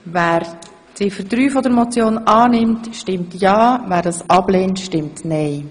Wer Ziffer 3 Motion annimmt, stimmt ja, wer sie ablehnt, stimmt nein.